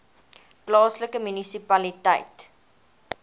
plaaslike munisipaliteit